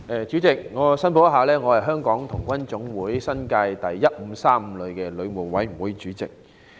主席，首先，我想作出申報，我是香港童軍總會新界第1535旅的旅務委員會主席。